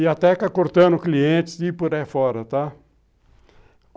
E até cortando clientes e ir por aí fora, tá?